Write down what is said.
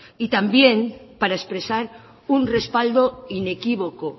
y también para expresar un respaldo inequívoco